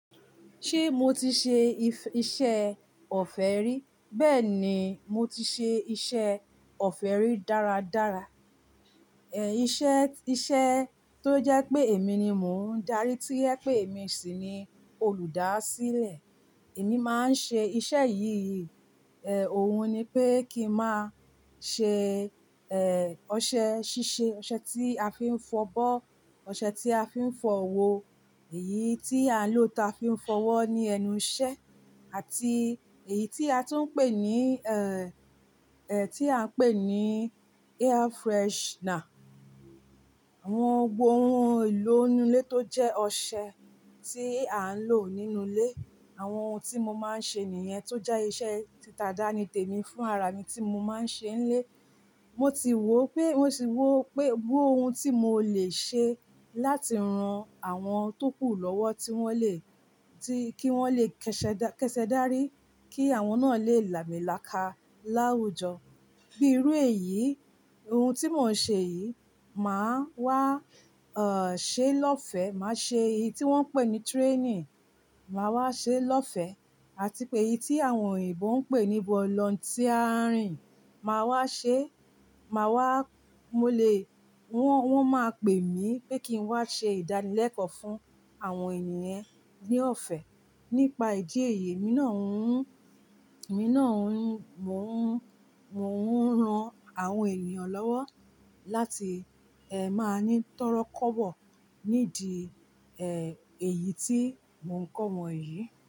Ṣé mo ti ṣe iṣẹ́ ọ̀fẹ́ rí? Bẹ́ẹ̀ ni, mo ti ṣe iṣẹ́ ọ̀fẹ́ rí dára dára. Ẹ̀ ìṣe, iṣẹ́ tó jẹ́ pé èmi ni mò ń darí tí ẹ pé èmi sì ni olùdásílẹ̀. Èmi máa ń ṣe iṣẹ́ yìí, ẹ́ òun ni pé kí n máa ṣe, ẹ́ ọṣẹ ṣíṣe, ọṣẹ tí a fi ń fọ bọ́, ọṣẹ tí a fi ń fọ wo, èyí tí a lò ta fi ń fọwọ́ ní ẹnu ìṣẹ́ àti èyí tí a tún ń pè ní, ẹ́ ẹ́ tí à ń pè ní air freshener. Àwọn ohun èlò inú ilé tó jẹ́ ọṣẹ tí à ń lò nínú ilé. Àwọn ohun tí mo máa ń ṣe nìyẹn tó jẹ́ iṣẹ́ tí tàdánìtèmi fún ara mi tí mo máa ń ṣe nílé. Mo ti wò pé, mo ti wò pé gbogbo ohun tí mo lè ṣe láti ran àwọn tó kù lọ́wọ́ tí wọ́n lè, tí kí wọ́n lè kẹṣẹ, kẹṣẹ dárí kí àwọn náà lè làmílàka láwùjọ. Bí irú èyí, ohun tí mò ń ṣe yìí, màá wá, ọ̀ ṣe lọ́fẹ̀ẹ́, màá ṣe èyí tí wọ́n ń pè ní training, màá wá ṣe lọ́fẹ̀ẹ́ àti pé èyí tí àwọn òyìnbó ń pè ní volunteering, màá wá ṣe, màá wá, mo lè wọ́n, wọ́n máa pè mí pé kí n wá ṣe ìdánilẹ́kọ̀ọ́ fún àwọn ènìyen ní ọ̀fẹ́. Nípa ìdí èyí, èmi náà ń, èmi náà ń, mò ń, mò ń ran àwọn ènìyàn lọ́wọ́ láti ẹ́ máa ní tọ́rọ́kọ̀bọ̀ nídi ẹ́ èyí tí mò ń kọ́ wọn yìí.